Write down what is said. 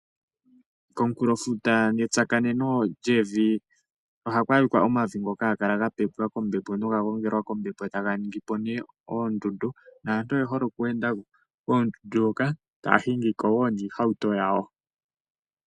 Komukulofuto netsakaneno lyevi ohaku adhika omavi ngoka haga kala ga pepwa kombepo noga gongelwa kombepo taga ningi po nee oondundu. Naantu oye hole okweenda koondundu hoka taa hingi ko woo niihauto yawo.